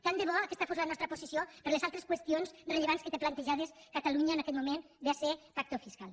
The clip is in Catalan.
tant de bo aquesta fos la nostra posició per a les altres qüestions rellevants que té plantejades catalunya en aquest moment véase pacto fiscal